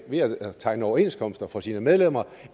ved at tegne overenskomster for sine medlemmer